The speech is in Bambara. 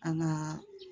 An ŋaa